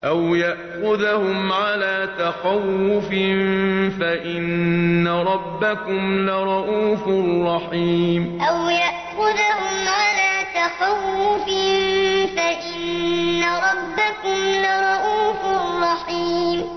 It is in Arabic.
أَوْ يَأْخُذَهُمْ عَلَىٰ تَخَوُّفٍ فَإِنَّ رَبَّكُمْ لَرَءُوفٌ رَّحِيمٌ أَوْ يَأْخُذَهُمْ عَلَىٰ تَخَوُّفٍ فَإِنَّ رَبَّكُمْ لَرَءُوفٌ رَّحِيمٌ